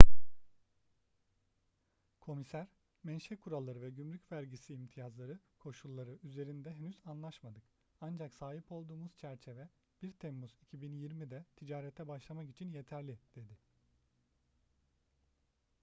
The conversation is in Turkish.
komiser menşe kuralları ve gümrük vergisi imtiyazları koşulları üzerinde henüz anlaşmadık ancak sahip olduğumuz çerçeve 1 temmuz 2020'de ticarete başlamak için yeterli dedi